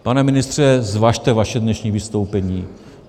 Pane ministře, zvažte své dnešní vystoupení.